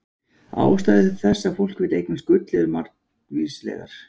Ástæður þess að fólk vill eignast gull eru annars margvíslegar.